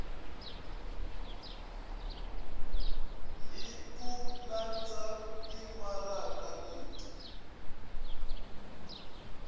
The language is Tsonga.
hi ku landza timaraka leti